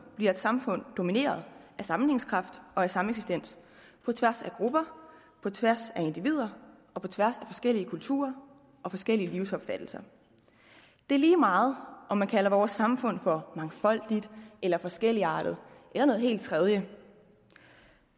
bliver et samfund domineret af sammenhængskraft og af sameksistens på tværs af grupper på tværs af individer og på tværs af forskellige kulturer og forskellige livsopfattelser det er lige meget om man kalder vores samfund for mangfoldigt eller forskelligartet eller noget helt tredje